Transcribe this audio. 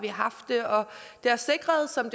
vi haft det og det har sikret som